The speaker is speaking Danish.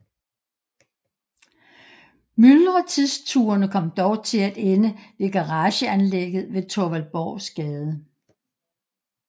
Myldretidsturene kom dog til at ende ved garageanlægget ved Thorvald Borgs Gade